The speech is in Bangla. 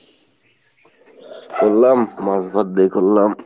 করলাম মাছ ভাত দিয়ে করলাম।